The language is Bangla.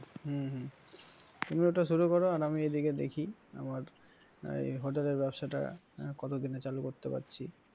হম হম তুমি ওটা শুরু কর আর আমি দেখে দেখি আমার hotel এর ব্যবসাটা কতদিনে চালু করতে পারছি।